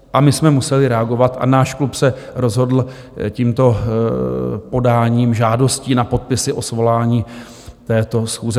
A my jsme museli reagovat a náš klub se rozhodl tímto podáním žádosti na podpisy o svolání této schůze.